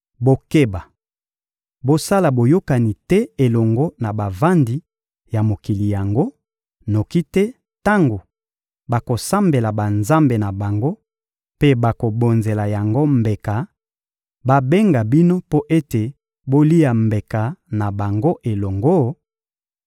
Bokeba! Bosala boyokani te elongo na bavandi ya mokili yango; noki te tango bakosambela banzambe na bango mpe bakobonzela yango mbeka, babenga bino mpo ete bolia mbeka na bango elongo;